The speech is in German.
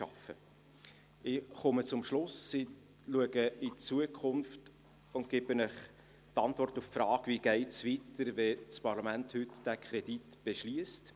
Ich komme zum Schluss, schaue in die Zukunft und gebe Ihnen die Antwort auf die Frage, wie es weitergeht, wenn das Parlament diesen Kredit heute beschliesst.